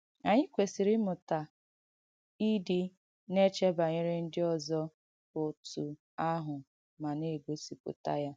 Ànyị kwèsīrī ìmụ̀tà ìdị̀ na-èchē banyere ndị ọ̀zọ̀ ótụ àhụ̀ ma na-ègọsìpùtà ya.